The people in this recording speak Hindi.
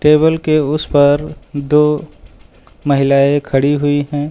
टेबल के उस पर दो महिलाएं खड़ी हुई हैं।